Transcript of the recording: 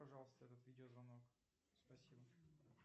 пожалуйста этот видеозвонок спасибо